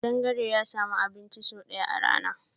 Kadangare ya sami abun ci sau daya a rana.